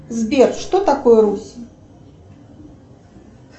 сбер что такое русь